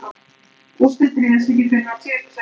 Úrslitin réðust ekki fyrr en á síðustu sekúndunum.